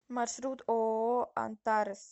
маршрут ооо антарес